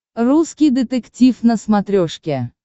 русский детектив на смотрешке